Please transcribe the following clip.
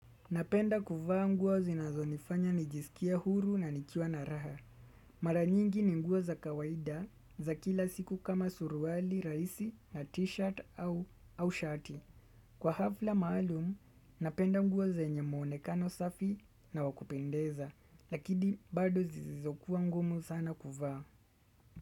Napenda kuvaa nguo zinazo nifanya nijisikia huru na nikiwa na raha. Mara nyingi ni nguo za kawaida za kila siku kama suruali, rahisi na t-shirt au shati. Kwa hafla maalumu, napenda nguo zenye mwonekano safi na wa kupendeza. Lakidi bado zizizokuwa ngumu sana kuvaa.